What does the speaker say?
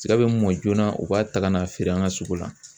Tiga bɛ mɔ joona u b'a ta ka n'a feere an ka sugu la